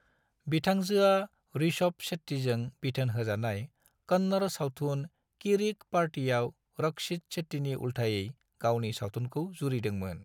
बिथांजोआ ऋषभ शेट्टीजों बिथोन होजानाय कन्नड़ सावथुन किरिक पार्टीयाव रक्षित शेट्टीनि उल्थायै गावनि सावथुनखौ जुरिदोंमोन।